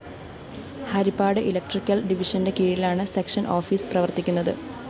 Harippad electrical ഡിവിഷന്റെ കീഴിലാണ് section office പ്രവര്‍ത്തിക്കുന്നത്